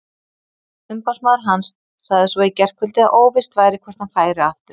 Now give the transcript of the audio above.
Umboðsmaður hans sagði svo í gærkvöld að óvíst væri hvort hann færi aftur.